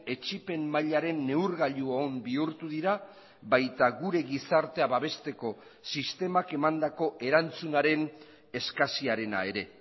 etsipen mailaren neurgailu on bihurtu dira baita gure gizartea babesteko sistemak emandako erantzunaren eskasiarena ere